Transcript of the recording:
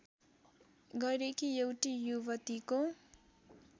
गरेकी एउटी युवतीको